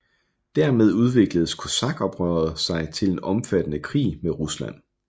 Dermed udvikledes kosakoprøret sig til en omfattende krig med Rusland